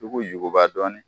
k'u juguba dɔɔnin